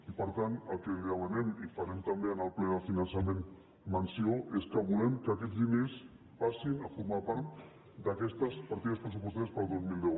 i per tant el que li demanem i en farem també en el ple del finançament menció és que volem que aquests diners passin a formar part d’aquestes partides pressupostàries per al dos mil deu